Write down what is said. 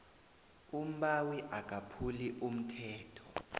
umbawi akaphuli umthetho